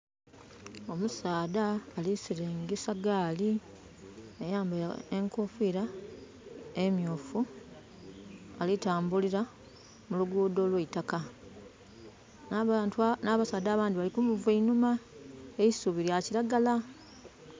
Omusaadha alisiringisa gaali. Ayambaire enkofira emyufu. Alitambulira mulugudo olw' eitakka. Na basaadha abandi baali kumuva einhuma. Eisubi lya kiragala